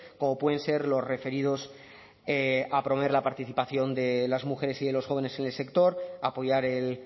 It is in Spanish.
como pueden ser los referidos a promover la participación de las mujeres y de los jóvenes en el sector apoyar el